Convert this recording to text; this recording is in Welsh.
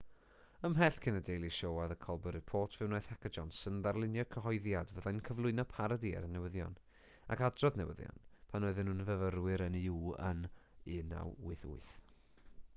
ymhell cyn the daily show a the colber report fe wnaeth heck a johnson ddarlunio cyhoeddiad fyddai'n cyflwyno parodi ar y newyddion ac adrodd newyddion pan oedden nhw'n fyfyrwyr yn uw yn 1988